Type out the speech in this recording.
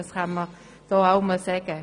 Das kann man hier auch einmal sagen.